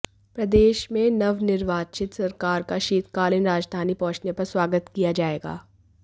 प्रदेश में नवनिर्वाचित सरकार का शीतकालीन राजधानी पहुंचने पर स्वागत किया जाएगा